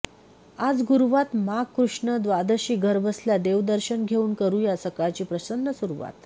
आज गुरुवात माघ कृष्ण द्वादशी घरबसल्या देव दर्शन घेऊन करूया सकाळची प्रसन्न सुरुवात